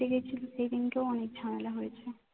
দেখেছিলি সেদিনকে ও অনেক ঝামেলা হয়েছে